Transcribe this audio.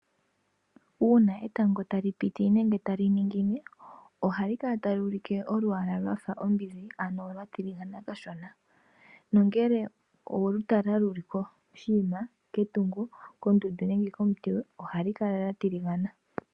Uuna etango tali piti nenge tali ningine, ohali kala tali ulike olwaala lwafa ombinzi, ano lwa tiligana kashona. Nongele oweli tala lili koshinima, ketungo, kondundu nenge komuti, ohali kala lya tiligana.